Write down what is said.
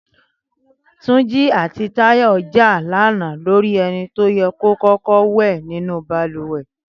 Túnjí àti Táyọ̀ jà lánàá lórí ẹni tó yẹ kó kọ́kọ́ wẹ̀ nínú balùwẹ̀